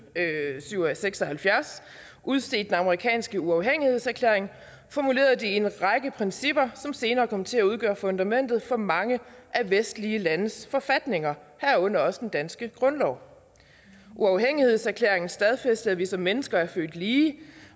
seks og halvfjerds udstedte den amerikanske uafhængighedserklæring formulerede de en række principper som senere kom til at udgøre fundamentet for mange vestlige landes forfatninger herunder også den danske grundlov uafhængighedserklæringen stadfæstede at vi som mennesker er født lige